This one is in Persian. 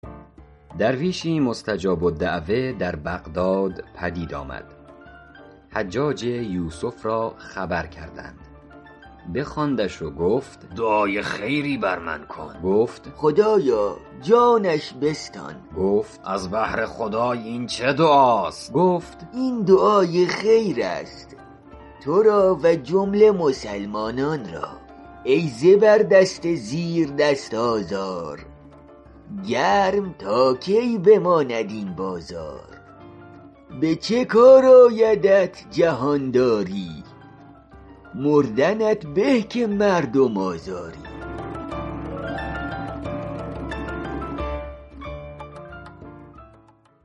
درویشی مستجاب الدعوة در بغداد پدید آمد حجاج یوسف را خبر کردند بخواندش و گفت دعای خیری بر من بکن گفت خدایا جانش بستان گفت از بهر خدای این چه دعاست گفت این دعای خیر است تو را و جمله مسلمانان را ای زبردست زیردست آزار گرم تا کی بماند این بازار به چه کار آیدت جهانداری مردنت به که مردم آزاری